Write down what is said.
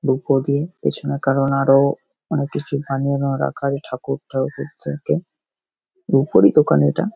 রুপো দিয়ে পেছনে কারণ আরোও অনেক কিছু বানিয়ে এনেও রাখা আছে ঠাকুর-টাকুরদেরকে রুপোরই দোকান এটা।